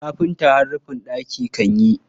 Kafinta har rufin ɗaki kan yi.